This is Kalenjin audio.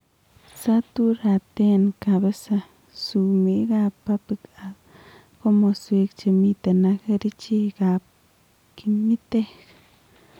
Saturaten kapisa sumeek ab pubic ak komoswek chemiten ak kercheek ab kimitek